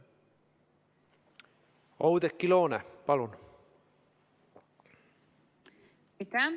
Oudekki Loone, palun!